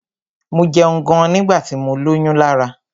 Mo jẹun gan nígbà tí mọ lóyún Lará.